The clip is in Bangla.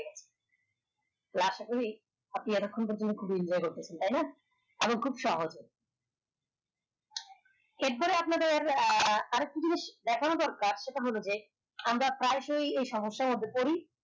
আশা করি আপনি এতক্ষন খুবি enjoy করতেছেন তার না এখন খুব সহজ এর পরে আপনাদের আহ আরেক টা জিনিস দেখানো দরকার সেটা হল যে আমরা প্রায়শোই এই সমস্যার মধ্যে পরি